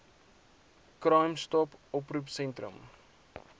crime stop oproepsentrums